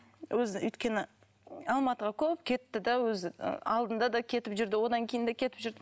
өзі өйткені алматыға көп кетті де өзі ы алдында да кетіп жүрді одан кейін де кетіп жүрді